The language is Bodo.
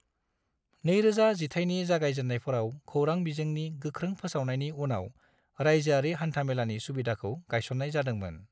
2000 जिथाइनि जागायजेन्नायफोराव खौरां बिजोंनि गोख्रों फोसावनायनि उनाव रायजोआरि हान्था-मेलानि सुबिदाखौ गायसन्नाय जादोंमोन।